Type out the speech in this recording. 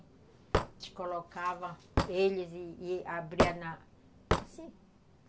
A gente colocava eles e abria na... Assim.